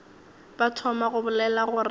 ba thoma go bolela gore